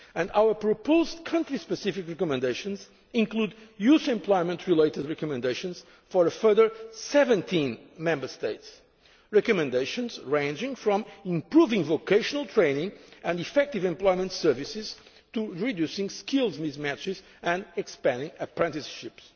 countries. Our proposed country specific recommendations include youth employment related recommendations for a further 17 Member States recommendations ranging from improving vocational training and effective employment services to reducing skills mismatches and expanding apprenticeships.